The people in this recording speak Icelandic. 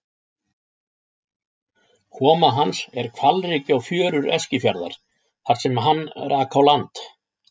Koma hans er hvalreki á fjörur Eskifjarðar þar sem hann rak á land.